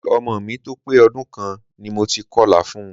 Ki ọmọ mi tó pé ọdún kan ni mo ti kọlà fun.